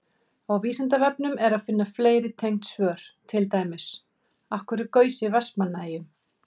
Á Vísindavefnum er að finna fleiri tengd svör, til dæmis: Af hverju gaus í Vestmannaeyjum?